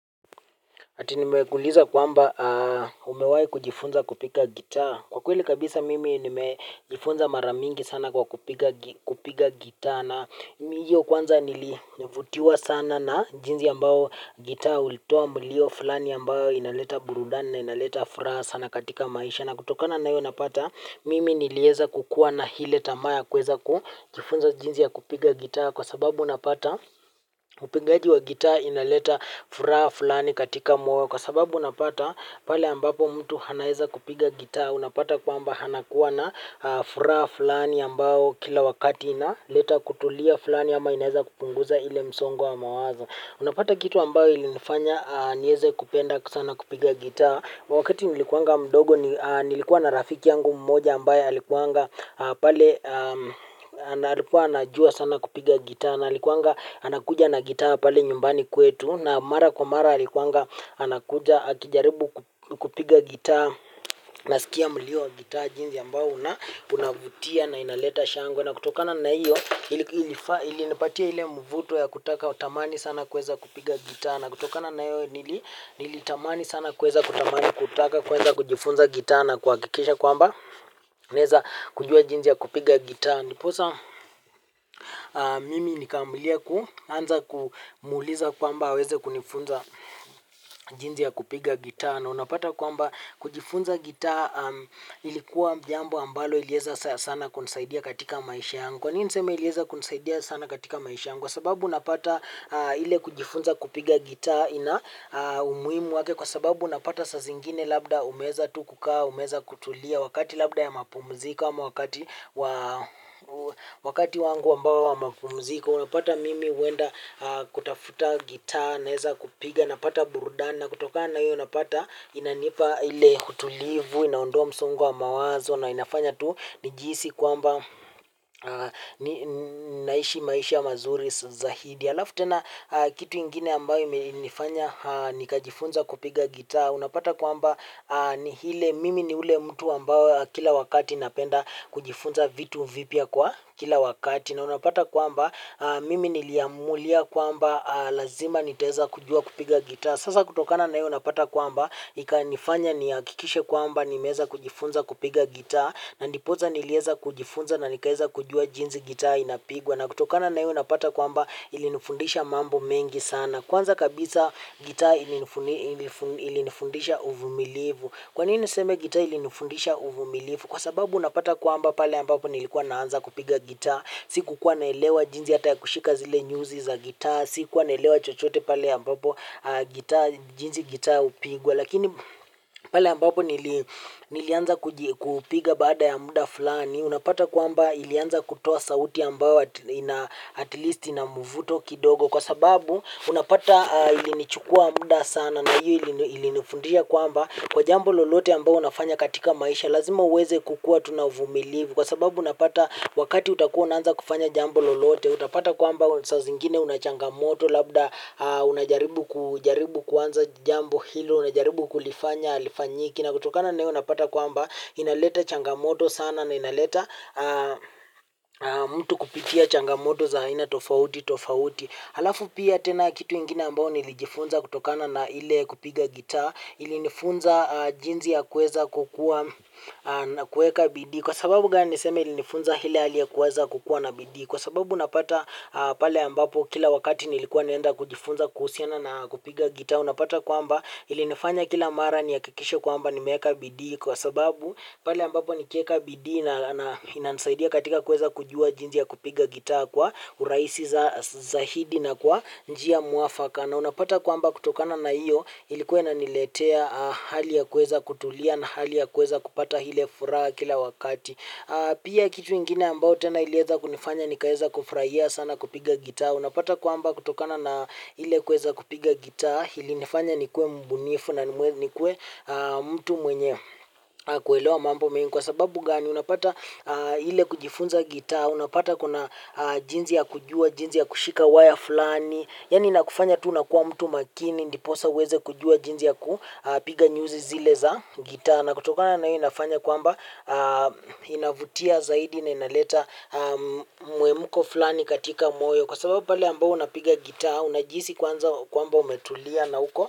Ati nimekuuliza kwamba umewahi kujifunza kupiga gitaa. Kwa kweli kabisa mimi nimejifunza mara nyingi sana kupiga gitaa, na mimi kwanza nilivutiwa sana na jinsi ambavyo gitaa linatoa mlio fulani ambao unaleta burudani na unaleta furaha sana katika maisha. Na kutokana na hiyo unapata mimi niliweza kukuwa na ile tamaa ya kuweza kufunza jinsi ya kupiga gitaa, kwa sababu unapata upigaji wa gitaa unaleta furaha fulani moyoni, kwa sababu unapata pale ambapo mtu anaweza kupiga gita, unapata kwamba anakuwa na furaha fulani ambayo kila wakati inaleta kutulia fulani au inaweza kupunguza ule msongo wa mawazo. Unapata kitu ambacho kilinifanya niweze kupenda sana kupiga gitaa. Wakati nilikuwa mdogo nilikuwa na rafiki yangu mmoja ambaye alikuwanga pale analikuwa anajua sana kupiga gitaa na alikuanga anakuja na gitaa pale nyumbani kwetu na mara kwa mara alikuwa anakuja akijaribu kupiga gitaa, na nilisikia mlio wa gitaa jinsi ambavyo unavutia na unaleta shangwe, na kutokana na hiyo ilinipatia ule mvuto wa kutaka, nitamani sana kuweza kupiga gitaa. Na kutokana na hayo nilitamani sana kuweza kutamani kutaka kuweza kujifunza gitaa na kuhakikisha kwamba niweze kujua jinsi ya kupiga gitaa. Ndiposa mimi nikaamlia, nikaanza kumuuliza kwamba aweze kunifunza jinsi ya kupiga gitaa. Na unapata kwamba kujifunza gitaa ilikuwa jambo ambalo lilinisaidia sana katika maisha yangu. Kwa nini nasema lilinisaidia sana katika maisha yangu? Kwa sababu unapata ile kujifunza kupiga gitaa ina umuhimu wake. Kwa sababu unapata, saa zingine labda umeweza tu kukaa, umeweza kutulia wakati labda wa mapumziko. Wakati wangu wa mapumziko unapata mimi huenda kutafuta gitaa, naweza kupiga, napata burudani. Na kutokana na hiyo unapata inanipa ule utulivu, inaondoa msongo wa mawazo na inafanya tu nijihisi kwamba naishi maisha mazuri zaidi. Halafu tena kitu kingine ambacho kilinifanya nikajifunza kupiga gitaa. Unapata kwamba ni ile mimi ni yule mtu ambaye kila wakati napenda kujifunza vitu vipya kwa kila wakati. Na unapata kwamba mimi niliamulia kwamba lazima niweze kujua kupiga gitaa. Sasa kutokana na hiyo napata kwamba, ikanifanya nihakikishe kwamba nimeweza kujifunza kupiga gitaa na nipoza niliweza kujifunza na nikaweza kujua jinsi gitaa inavyopigwa na kutokana na hiyo napata kwamba ilinifundisha mambo mengi sana. Kwanza kabisa gitaa ilinifundisha uvumilivu. Kwa nini niseme gitaa ilinifundisha uvumilivu? Kwa sababu unapata kwamba pale ambapo nilikuwa naanza kupiga gitaa sikuwa naelewa jinsi hata ya kushika zile nyuzi za gitaa, sikuwa naelewa chochote pale ambapo jinsi gitaa hupigwa, lakini pale ambapo nilianza kupiga, baada ya muda fulani unapata kwamba ilianza kutoa sauti ambayo at least ina mvuto kidogo kwa sababu unapata ilinichukua muda sana na hiyo ilinifundisha kwamba kwa jambo lolote ambalo unafanya katika maisha lazima uweze kukuwa tu mvumilivu kwa sababu unapata wakati utakuwa unaanza kufanya jambo lolote. Utapata kwamba saa zingine una changamoto labda unajaribu kujaribu kuanza jambo hilo. Unajaribu kulifanya halifanyiki. Na kutokana na hiyo unapata kwamba inaleta changamoto sana na inaleta mtu kupitia changamoto za aina tofauti tofauti. Halafu pia tena kitu ingine ambacho nilijifunza kutokana na ile kupiga gitaa. Ilinifunza jinsi ya kuweza kukuwa na kuweka bidii. Kwa sababu gani nasema ilinifunza ile hali ya kuweza kukuwa na bidii, kwa sababu napata pale ambapo kila wakati nilikuwa nikienda kujifunza kuhusiana na kupiga gitaa unapata kwamba ilinifanya kila mara nihakikishe kwamba nimeweka bidii kwa sababu pale ambapo nikiweka bidii inanisaidia katika kuweza kujua jinsi ya kupiga gitaa kwa urahisi zaidi na kwa njia muafaka. Na unapata kwamba kutokana na hiyo ilikuwa inaniletea hali ya kuweza kutulia na hali ya kuweza kupata ile furaha kila wakati. Pia kitu ingine ambayo tena iliweza kunifanya nikaweza kufurahia sana kupiga gitaa. Unapata kwamba kutokana na ile kuweza kupiga gitaa ilinifanya nikuwe mbunifu na nikuwe mtu mwenye kuelewa mambo mengi. Kwa sababu gani, unapata ile kujifunza gitaa unapata kuna jinsi ya kujua, jinsi ya kushika waya fulani, yaani inakufanya tu unakuwa mtu makini ndipo uweze kujua jinsi ya kupiga nyuzi zile za gitaa na kutokana na hiyo inafanya kwamba inavutia zaidi na inaleta mhemko fulani katika moyo. Kwa sababu pale ambapo unapiga gitaa unajihisi kwamba umetulia na huko.